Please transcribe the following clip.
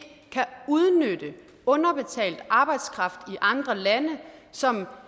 kan udnytte underbetalt arbejdskraft i andre lande som